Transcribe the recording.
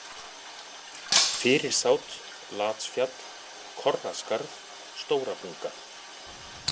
Fyrirsát, Latsfjall, Korraskarð, Stóra-Bunga